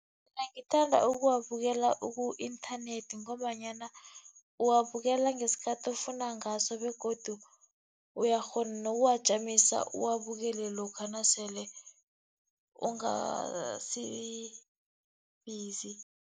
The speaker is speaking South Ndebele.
Mina ngithanda ukuwabukela ku-inthanethi, ngombanyana uwabukela ngesikhathi ofuna ngaso begodu uyakghona nokuwajamisa uwabukele lokha nasele ungasi busy.